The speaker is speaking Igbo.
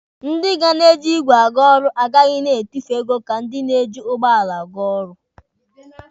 Ndị ga na-eji igwe aga ọrụ agaghị na-etufu ego ka ndị na-eji ụgbọala aga ọrụ.